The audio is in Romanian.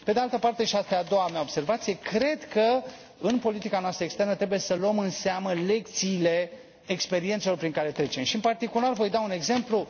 Pe de altă parte, și asta e a doua mea observație, cred că în politica noastră externă trebuie să luăm în seamă lecțiile experiențelor prin care trecem și, în particular, voi da un exemplu.